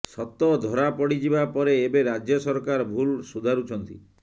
ସତ ଧରା ପଡ଼ିଯିବା ପରେ ଏବେ ରାଜ୍ୟ ସରକାର ଭୁଲ୍ ସୁଧାରୁଛନ୍ତି